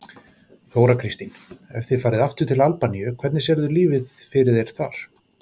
Þóra Kristín: Ef þið farið aftur til Albaníu, hvernig sérðu lífið fyrir þér þar?